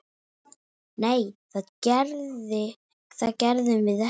Nei, það gerðum við ekki.